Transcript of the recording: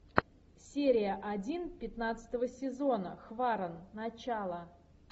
серия один пятнадцатого сезона хваран начало